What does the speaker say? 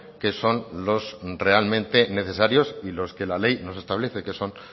que son los realmente necesarios y los que la ley nos establece que son